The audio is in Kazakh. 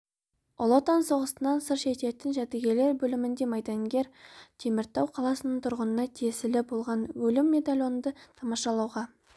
ұлы отан соғысынан сыр шертетін жәдігерлер бөлімінде майдангер теміртау қаласының тұрғынына тиесілі болған өлім медальонды тамашалауға